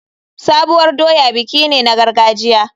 Sabuwar doya biki ne na gargajiya.